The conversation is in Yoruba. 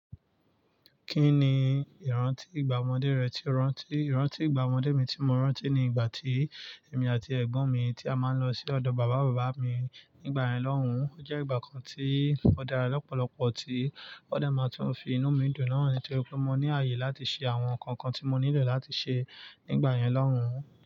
Kí ni ìrántí ìgbà ọmọdé rẹ tí o rántí? Ìrántí ìgbà ọmọdé mi tí mo rántí ni ìgbà tí èmi àti ẹ̀gbọ́n mi tí a máa ń lọ sí ọ̀dọ̀ bàbá bàbá mi nígbàyen lọ́hùn. Ó jẹ́ ìgbà kan tí ó dára lọ́pọ̀lọpọ̀, tí ó dà máa tún fi inú mi dùn náà, nítorí pé mo ní àyè láti ṣe àwọn ǹkan kan tí mo nílò láti ṣe nígbyen lọ́hùn.